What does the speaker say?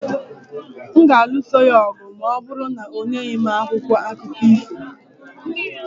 M ga-alụso ya ọgụ ma ọ bụrụ na o nyeghị m akwụkwọ akụkọ ifo